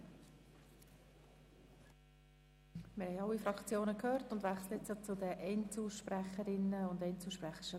Wir haben alle Fraktionen gehört und wechseln nun zu den Einzelsprecherinnen und Einzelsprechern.